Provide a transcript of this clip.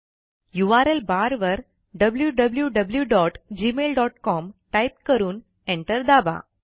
URL bar वर wwwgmailcom type करून enter दाबा